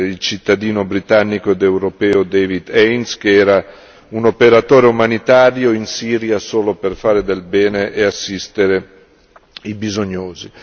al cittadino britannico ed europeo David Haines, che era un operatore umanitario in Siria solo per fare del bene e assistere i bisognosi.